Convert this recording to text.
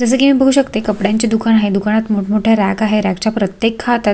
जस की मी बघू शकते कपड्यांचे दुकान आहे दुकानमध्ये मोठ मोठे रॅक आहे रॅक च्या प्रतेक खात्यात--